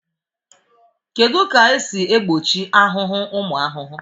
Kedu ka esi egbochi ahụhụ ụmụ ahụhụ